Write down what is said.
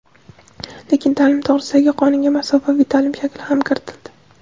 Lekin "Ta’lim to‘g‘risida"gi qonunga masofaviy ta’lim shakli ham kiritildi.